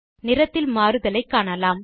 நிறத்தில் மாறுதலை காணலாம்